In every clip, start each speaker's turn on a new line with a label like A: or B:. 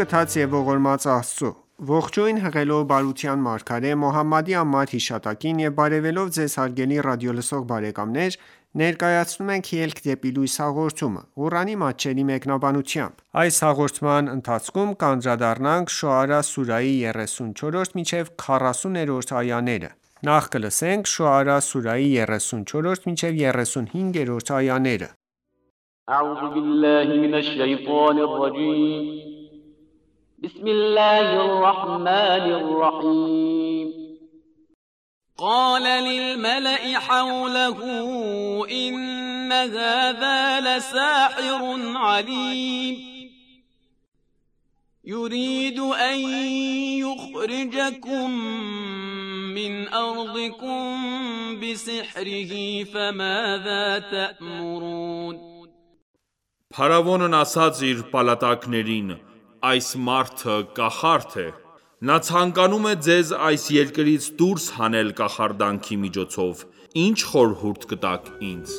A: գթած և ողորմած Աստծո:Ողջույն հղելով բարության մարգարե Մոհամմադի անմար հիշատակին եւ բարեւելով Ձեզ հարգելի ռադիոլսող բարեկամներ ներկայացնում ենք «Ելք դեպի լույս» հաղորդումը, Ղուրանի մատչելի մեկնաբանությամբ: Շոարա սուրահի 34 և
B: 35-րդ այաներ قَالَ لِلْمَلَإِ حَوْلَهُ إِنَّ هَذَا لَسَاحِرٌ عَلِیمٌ یُرِیدُ أَن یُخْرِجَکُم مِّنْ أَرْضِکُم بِسِحْرِهِ فَمَاذَا تَأْمُرُونَ
C: (Փարավոնն) ասաց իր պալատականներին`այս մարդը կախարդ է: Նա ցանկանում է ձեզ այս երկրից դուրս հանել կախարդանքի միջոցով: Ինչ խորհուրդ կտաք ինձ: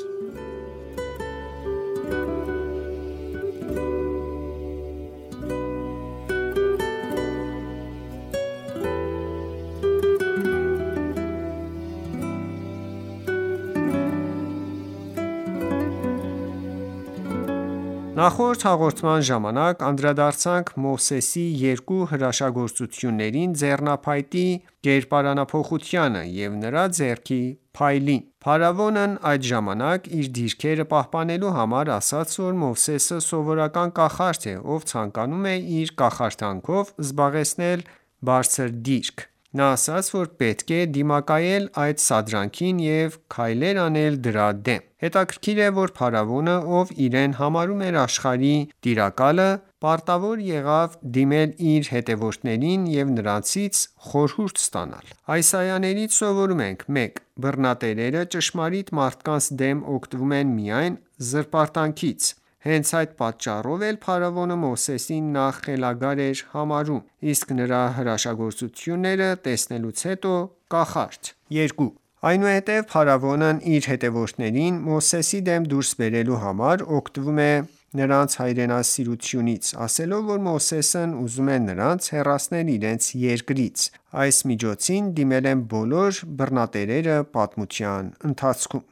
A: Նախորդ հաղորդման ժամանակ անդրադարձանք Մովսեսի երկու հրաշագործություններին՝ ձեռնափայտի կերպարանափոխությանը և նրա ձեռքի փայլին: Փարավոնն այդ ժամանակ իր դիրքերը պահպանելու համար ասաց, որ Մովսեսը սովորական կախարդ է, ով ցանկանում է իր կախարդանքով զբաղեցնել բարձր դիրք: Նա ասաց, որ պետք է դիմակայել այդ սադրանքին և քայլեր անել դրա դեմ: Հետաքրքիր է, որ փարավոնը, ով իրեն համարում էր աշխարհի տիրակալը, պարտավոր եղավ դիմել իր հետևորդներին ու նրանցից խորհուրդ հարցնել: Այս այաներից սովորում ենք․ 1. Բռնատերերը ճշմարիտ մարդկանց դեմ օգտվում են միայն զրպարտանքից: Հենց այդ պատճառով էլ փարավոնը Մովսեսին նախ խելագար է համարում, իսկ նրա հրաշագործությունները տեսնելուց հետո՝ կախարդ: 2. Այնուհետև փարավոնն իր հետևորդներին Մովսեսի դեմ դուրս բերելու համար, օգտվում է նրանց հայրենասիրությունից, ասելով, որ Մովսեսն ուզում է նրանց հեռացնել իրենց երկրից: Այս միջոցին դիմել են բոլոր բռնատերերը պատմության ընթացքում: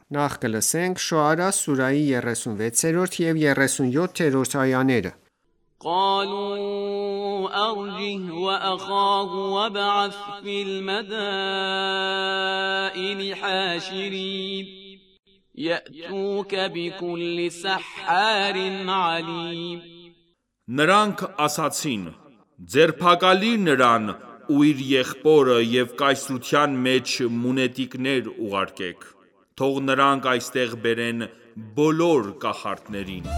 A: Շոարա սուրահի 36 և 37-րդ այաներ
B: قَالُوا أَرْجِهِ وَأَخَاهُ وَابْعَثْ فِی الْمَدَائِنِ حَاشِرِینَ یَأْتُوکَ بِکُلِّ سَحَّارٍ عَلِیمٍ
C: (Նրանք) ասացին.«Ձերբակալիր նրան ու իր եղբորը և կայսրության մեջ մունետիկներ ուղարկեք: Թող նրանք այստեղ բերեն բոլոր կախարդներին: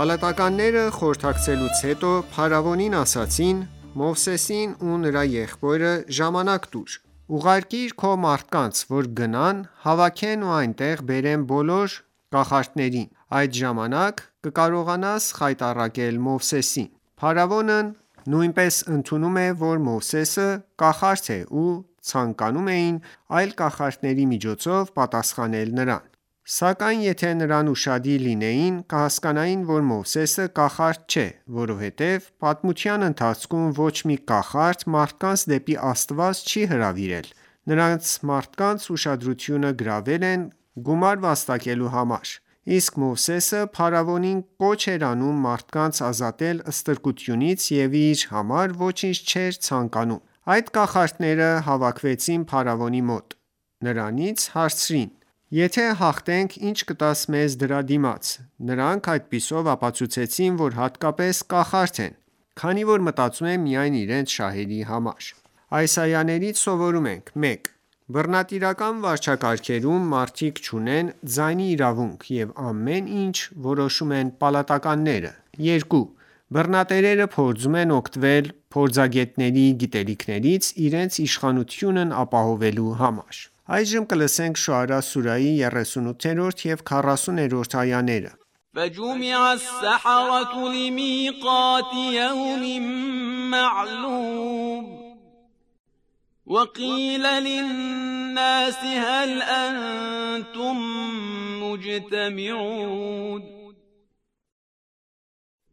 A: Պալատականները, խորհրդակցելուց հետո, փարավոնին ասացին. «Մովսեսին ու նրա եղբորը ժամանակ տուր: Ուղարկիր քո մարդկանց, որ գնան, հավաքեն ու այստեղ բերեն բոլոր կախարդներին: Այդ ժամանակ կկարողանաս խայտառակել Մովսեսին»: Փաստորեն, նրանք նույնպես ընդունում էին, որ Մովսեսը կախարդ է ու ցանկանում էին այլ կախարդների միջոցով պատասխանել նրան: Սակայն եթե նրանք ուշադիր լինեին, կհասկանային, որ Մովսեսը կախարդ չէ: Որովհետև պատմության ընթացքում ոչ մի կախարդ մարդկանց դեպի Աստված չի հրավիրել: Նրանք մարդկանց ուշադրությունը գրավել են գումար վաստակելու համար: Իսկ Մովսեսը փարավոնին կոչ էր անում մարդկանց ազատել ստրկությունից և իր համար ոչինչ չէր ցանկանում: Երբ կախարդները հավաքվեցին փարավոնի մոտ, նրանից հարցրին. «Եթե հաղթենք, ի՞նչ կտաս մեզ դրա դիմաց»: Նրանք այդպիսով ապացուցեցին, որ իսկապես կախարդ են, քանի որ մտածում են միայն իրենց շահերի մասին։ Այս այաներից սովորում ենք․ 1. Բռնատիրական վարչակարգերում մարդիկ չունեն ձայնի իրավունք և ամեն ինչ որոշում են պալատականները: 2. Բռնատերերը փորձում են օգտվել փորձագետների գիտելիքներից՝ իրենց իշխանությունն ապահովելու համար: Շոարա սուրահի 38-40-րդ այաներ
B: فَجُمِعَ السَّحَرَةُ لِمِیقَاتِ یَوْمٍ مَّعْلُومٍ وَقِیلَ لِلنَّاسِ هَلْ أَنتُم مُّجْتَمِعُونَ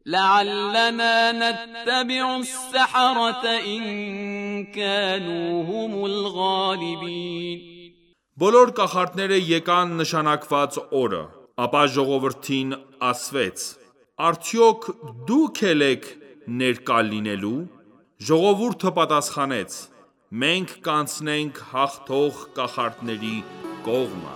B: لَعَلَّنَا نَتَّبِعُ السَّحَرَةَ إِن
C: کَانُوا هُمُ الْغَالِبِینَ Բոլոր կախարդները եկան նշանակված օրը: Ապա Ժողովրդին ասվեց.«Արդյոք դու՞ք էլ եք ներկա լինելու»: (Ժողովուրդը պատասխանեց). մենք կանցնենք հաղթող կախարդների կողմը: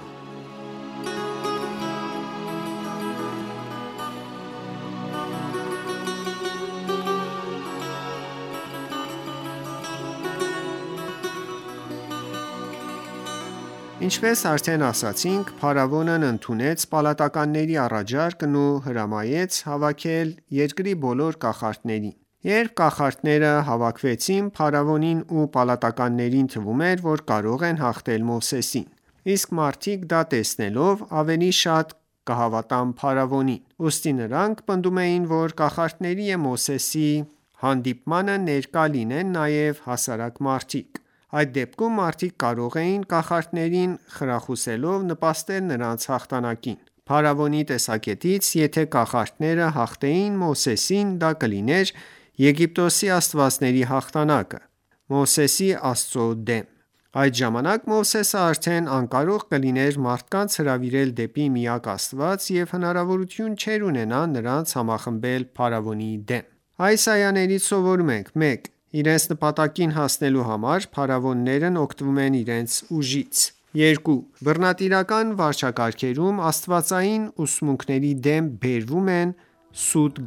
A: Ինչպես արդեն ասացինք, փարավոնն ընդունեց պալատականների առաջարկն ու հրամայեց հավաքել երկրի բոլոր կախարդներին: Երբ կախարդները հավաքվեցին, փարավոնին ու պալատականներին թվում էր, որ կարող են հաղթել Մովսեսին: Իսկ մարդիկ, դա տեսնելով, ավելի շատ կհավատան փարավոնին: Ուստի նրանք պնդում էին, որ կախարդների ու Մովսեսի հանդիպմանը ներկա լինեն նաև հասարակ մարդիկ: Այդ դեպքում, մարդիկ կարող էին կախարդներին խրախուսելով, նպաստել նրանց հաղթանակին: Փարավոնի տեսակետից, եթե կախարդները հաղթեին Մովսեսին, դա կլիներ Եգիպտոսի աստվածների հաղթանակը Մովսեսի Աստծո դեմ: Այդ ժամանակ, Մովսեսը արդեն անկարող կլիներ մարդկանց հրավիրել դեպի միակ Աստված և հնարավորություն չէր ունենա նրանց համախմբել փարավոնի դեմ: Այս այաներից սովորում ենք․ 1. Իրենց նպատակին հասնելու համար, փարավոններն օգտվում են իրենց ուժից: 2. Բռնատիրական վարչակարգերում, աստվածային ուսմունքների դեմ բերվում են սուտ